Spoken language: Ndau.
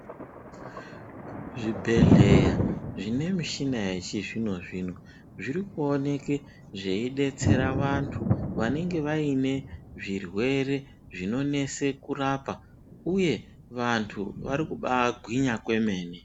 Zvibhedhlera zvine michina yechizvino zvino zvirikuoneke zveibetsere vantu vanenge vaine zvirwere zvinonetsa kurapa uye vantu varikubagwinya kwemene .